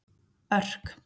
Örk